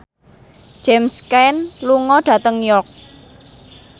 James Caan lunga dhateng York